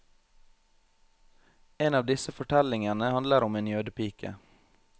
En av disse fortellingene handler om en jødepike.